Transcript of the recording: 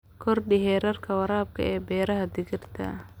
Kordhi heerka waraabka ee beeraha digirta.